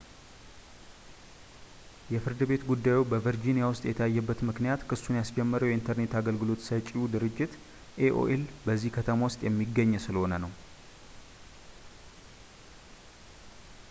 የፍርድ ቤት ጉዳዩ በvirginia ውስጥ የታየበት ምክንያት ክሱን ያስጀመረው የኢንተርኔት አገልግሎት ሰጪው ድርጅት aol በዚሁ ከተማ ውስጥ የሚገኝ ስለሆነ ነው